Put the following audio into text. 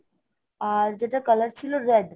আর যেটার color ছিল red